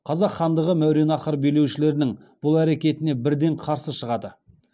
қазақ хандығы мәуереннахр билеушілерінің бұл әрекетіне бірден қарсы шығады